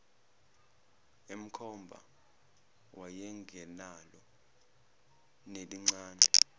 emkhomba wayengenalo nelincane